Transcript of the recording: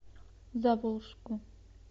заволжску